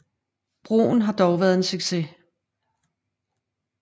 Broen har dog været en stor succes